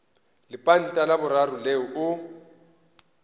lepanta la boraro leo o